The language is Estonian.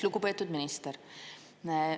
Lugupeetud minister!